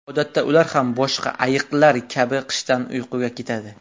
Odatda ular ham boshqa ayiqlar kabi qishda uyquga ketadi.